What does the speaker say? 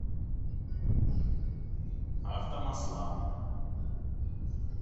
автомасла